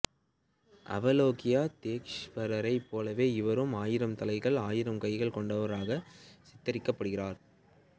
அவலோகிதேஷ்வரரைப் போலவே இவரும் ஆயிரம் தலைகள் ஆயிரம் கைகால் கொண்டவராக சித்தரிக்கப்படுகிறார்